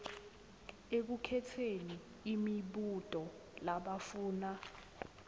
ekukhetseni imibuto labafuna